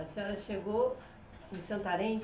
A senhora chegou em Santarém?